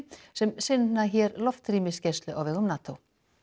sem sinna hér loftrýmisgæslu á vegum NATO